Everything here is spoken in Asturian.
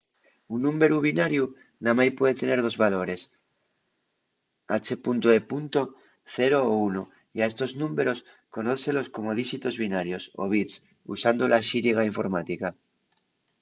un númberu binariu namái puede tener dos valores h.e. 0 o 1 y a estos númberos conózselos como díxitos binarios – o bits usando la xíriga informática